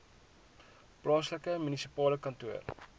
plaaslike munisipale kantoor